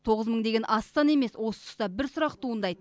тоғыз мың деген аз емес осы тұста бір сұрақ туындайды